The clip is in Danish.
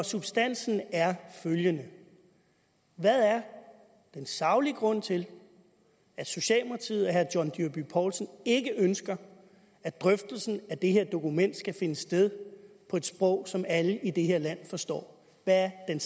substansen er følgende hvad er den saglige grund til at socialdemokratiet og herre john dyrby paulsen ikke ønsker at drøftelsen af det her dokument skal finde sted på et sprog som alle i det her land forstår hvad er